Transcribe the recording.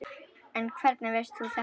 En hvernig veist þú þetta?